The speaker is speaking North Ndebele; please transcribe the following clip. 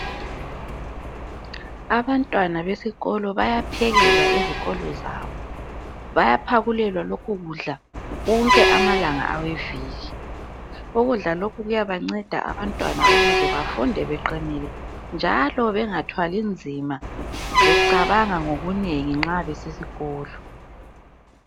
Abantwana besikolo bayaphekelwa ezikolo zabo. Bayaphakulelwa lokhu kudla wonke amalanga aweviki. Ukudla lokhu kuyabanceda abantwana ukuze bafunde beqinile njalo bengathwali nzima becabanga ngokunengi nxa besesikolo.